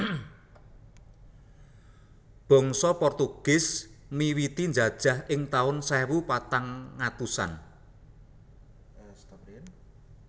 Bangsa Portugis miwiti njajah ing tahun sewu patang atusan